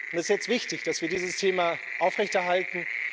Es ist jetzt wichtig, dass wir dieses Thema aufrechterhalten.